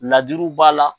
Ladiriw b'a la